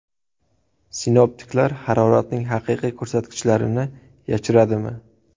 Sinoptiklar haroratning haqiqiy ko‘rsatkichlarini yashiradimi?